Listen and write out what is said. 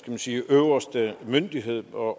man sige øverste myndighed over